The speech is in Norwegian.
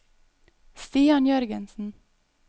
Stian Jørgensen